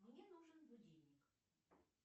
мне нужен будильник